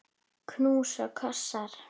Knús og kossar.